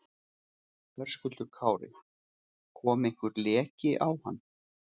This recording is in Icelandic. Höskuldur Kári: Kom einhver leki á hann?